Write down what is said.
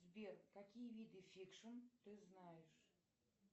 сбер какие виды фикшн ты знаешь